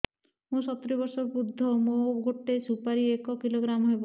ମୁଁ ସତୂରୀ ବର୍ଷ ବୃଦ୍ଧ ମୋ ଗୋଟେ ସୁପାରି ଏକ କିଲୋଗ୍ରାମ ହେବ